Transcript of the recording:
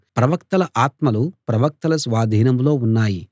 ప్రవక్తల ఆత్మలు ప్రవక్తల స్వాధీనంలో ఉన్నాయి